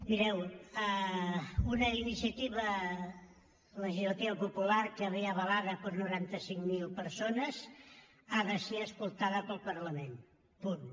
mireu una iniciativa legislativa popular que ve avalada per noranta cinc mil persones ha de ser escoltada pel parlament punt